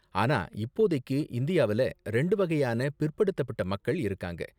ஆனா இப்போதைக்கு, இந்தியாவுல ரெண்டு வகையான பிற்படுத்தப்பட்ட மக்கள் இருக்காங்க.